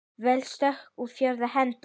Veik stökk í fjórðu hendi!